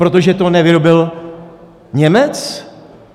Protože to nevyrobil Němec?